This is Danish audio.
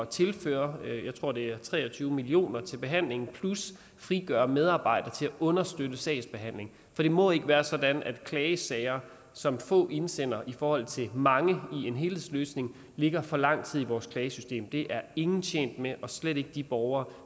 tilføre jeg tror det er tre og tyve million kroner til behandlingen plus til frigøre medarbejdere til at understøtte sagsbehandlingen for det må ikke være sådan at klagesager som få indsender i forhold til mange i en helhedsløsning ligger for lang tid i vores klagesystem det er ingen tjent med og slet ikke de borgere